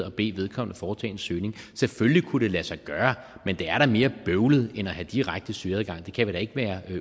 og bede vedkommende foretage en søgning selvfølgelig kunne det lade sig gøre men det er da mere bøvlet end at have direkte søgeadgang det kan vi da ikke være